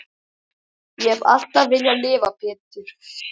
Ég hef alltaf viljað lifa Pétur.